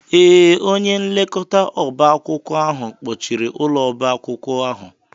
Ee, onye nlekọta oba akwụkwọ ahụ kpọchiri ụlọ oba akwụkwọ ahụ.